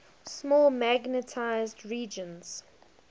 small magnetized regions